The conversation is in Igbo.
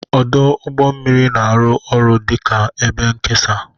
Ọdụ ụgbọ mmiri na-arụ ọrụ dị ka ebe nkesa.